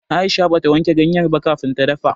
Aisha bata wanke ganyar ba kafin ta dafa.